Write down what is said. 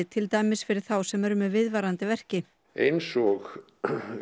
til dæmis fyrir þá sem eru með viðvarandi verki eins og